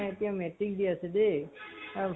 এতিয়া metric দি আছে দেই আৰু